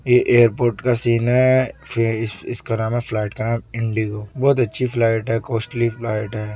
ये एयरपोर्ट का सीन है फ इस इसका नाम है फ्लाइट का नाम इंडिगो बहोत अच्छी फ्लाइट है कॉस्टली फ्लाइट है।